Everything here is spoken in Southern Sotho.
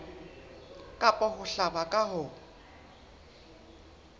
kapa ho hlaba ka ho